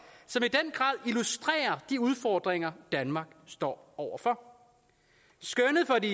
illustrerer de udfordringer danmark står over for skønnet for det